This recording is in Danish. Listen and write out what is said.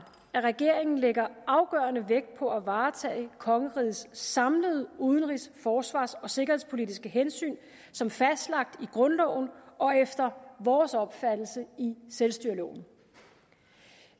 at regeringen lægger afgørende vægt på at varetage kongerigets samlede udenrigs forsvars og sikkerhedspolitiske hensyn som fastlagt i grundloven og efter vores opfattelse i selvstyreloven